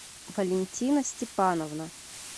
валентина степановна